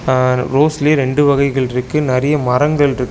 அ ரோஸ்லியே ரெண்டு வகைகள்ருக்கு நெறைய மரங்கள்ருக்கு.